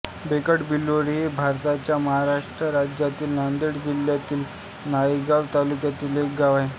बेटकबिलोळी हे भारताच्या महाराष्ट्र राज्यातील नांदेड जिल्ह्यातील नायगाव तालुक्यातील एक गाव आहे